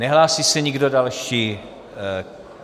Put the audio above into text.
Nehlásí se nikdo další.